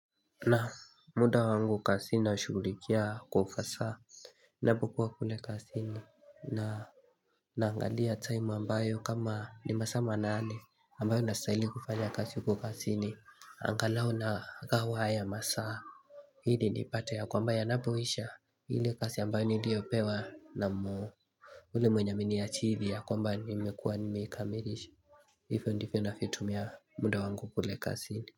Naam, muda wangu kazini nashughulikia kwa ufasaha Ninapokuwa kule kazini na Naangalia time ambayo kama ni masaa manane ambayo nastahili kufanya kazi huko kazini. Angalau nagawa haya masaa Ili nipate ya kwamba yanapoisha, ile kazi ambayo niliyopewa na yule mwenya ameniajiri ya kwamba nimekuwa nimeikamilisha Hivy ndivyo ninavyotumia muda wangu kule kazini.